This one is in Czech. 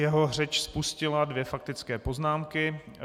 Jeho řeč spustila dvě faktické poznámky.